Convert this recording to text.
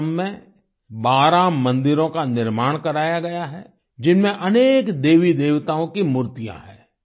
आश्रम में 12 मंदिरों का निर्माण कराया गया है जिनमें अनके देवीदेवताओं की मूर्तियाँ हैं